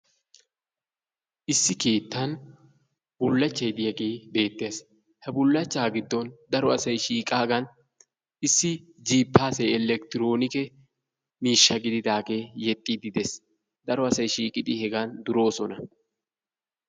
Issi keettan bullachchay diyagee beettees. Ha bullachchaa giddon daro asay shiiqaagan jiippaasee elekitiroonike miishsha gididaagee yexxiiddi de'ees. Daro asay shiiqidi duroosona.